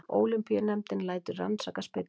Ólympíunefndin lætur rannsaka spillingu